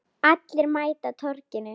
Allir mæta á Torginu